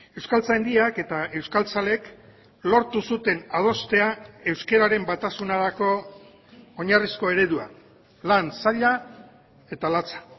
euskaltzaindiak eta euskaltzaleek lortu zuten adostea euskararen batasunerako oinarrizko eredua lan zaila eta latza